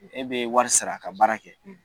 E be wari sara, ka baara kɛ.